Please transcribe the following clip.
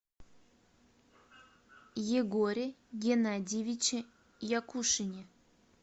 егоре геннадьевиче якушине